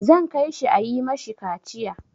Zan kai shi a yi ma shi kaciya.